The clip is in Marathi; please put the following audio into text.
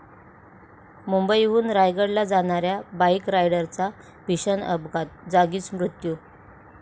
मुंबईहून रायगडला जाणाऱ्या बाईक रायडरचा भीषण अपघात, जागीच मृत्यू